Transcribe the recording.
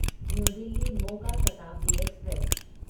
new Delhi Moga Shatabdi express